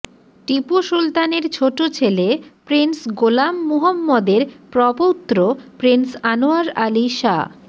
টিপু সুলতানের ছোট ছেলে প্রিন্স গোলাম মুহম্মদের প্রপৌত্র প্রিন্স আনোয়ার আলী শাহ